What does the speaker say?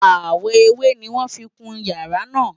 Àwọ̀ ewé ni wọ́n fi kun ìyàrá náà